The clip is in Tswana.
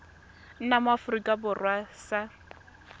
nna mo aforika borwa sa